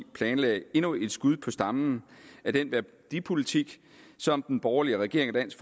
planlagde endnu et skud på stammen af den værdipolitik som den borgerlige regering og dansk